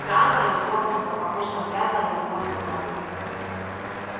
трантор из космоса похож на грязно-голубое пятно